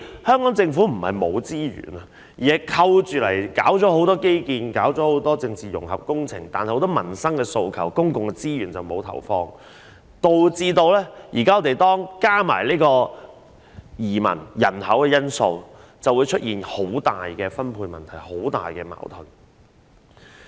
香港政府並非沒有資源，而是扣起進行很多基建和政治融合工程，至於很多民生訴求，則沒有投放公共資源處理，加上移民和人口因素，導致出現很大的分配問題和矛盾。